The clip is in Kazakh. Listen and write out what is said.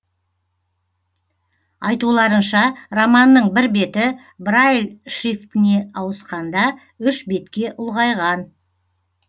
айтуларынша романның бір беті брайль шрифтіне ауысқанда үш бетке ұлғайған